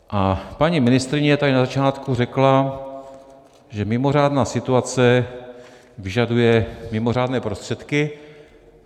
A paní ministryně tady na začátku řekla, že mimořádná situace vyžaduje mimořádné prostředky.